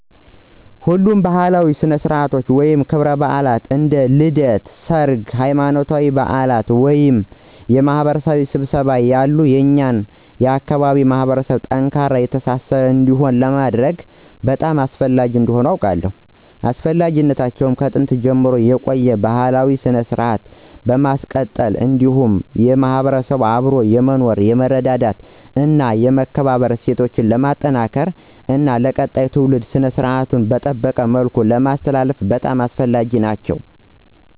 ሁሉም ባእላዊ ስነስረአትቶች ወይም ክብረባአላት እንደ ልደት፣ ሰርግ፣ ሃይማኖታዊ በአላት ወይም የማህበረሰብ ስብሰባዎች ያሉ የኛን አካባቢ ማህበረሰብ ጠንካራና የተሳሰረ እንዲሆን ለማድረግ በጣም አስፈላጊ እንደሆኑ አውቃለው። አስፈላጊነታቸውም ከጥንት ጀምሮ የቆየውን ባህላዊ ስነስረአት ለማስቀጠል እንዲሁም የማህበረሰቡን አብሮ የመኖር፣ የመረዳዳት እና የመከባበር እሴት ለማጠናከር እና ለቀጣይ ትውልድ ስነስራቱን በጠበቀ መልኩ ለማስተላለፍ በጣም አስፈላጊ ናቸው።